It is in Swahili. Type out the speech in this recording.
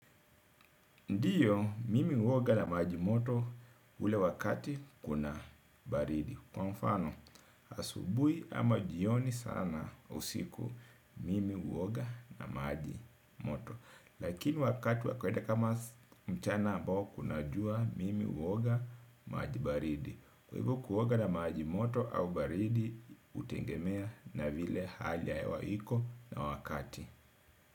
Ndiyo, mimi huoga na maji moto ule wakati kuna baridi. Kwa mfano, asubuhi ama jioni sana usiku mimi huoga na maji moto. Lakini wakati wa kweda kama mchana ambao kuna jua mimi huoga maji baridi. Kwa hivo kuoga na maji moto au baridi, hutengemea na vile hali ya hewa iko na wakati.